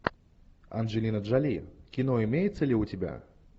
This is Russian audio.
анджелина джоли кино имеется ли у тебя